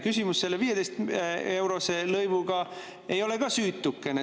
Küsimus selle 15-eurose lõivuga ei ole ka süütukene.